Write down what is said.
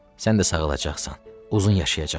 Sən də sağalacaqsan, uzun yaşayacaqsan.